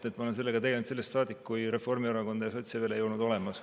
Ma olen sellega tegelnud sellest saadik, kui Reformierakonda ja sotse veel ei olnud olemas.